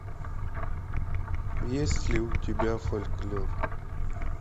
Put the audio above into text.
есть ли у тебя фольклор